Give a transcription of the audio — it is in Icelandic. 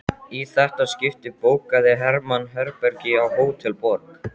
Í þetta skipti bókaði Hermann herbergi á Hótel Borg.